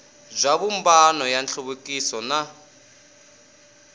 bya vumbano wa nhluvukiso na